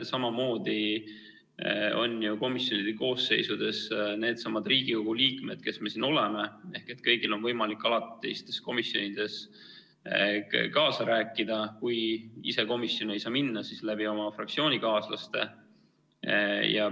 Samamoodi on ju komisjonide koosseisudes needsamad Riigikogu liikmed, kes me siin oleme, kõigil on võimalik alatistes komisjonides kaasa rääkida – kui ise komisjoni ei saa minna, siis oma fraktsioonikaaslaste kaudu.